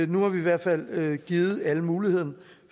nu har vi i hvert fald givet alle muligheden